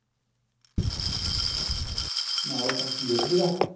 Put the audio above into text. हा हो का घेतली का?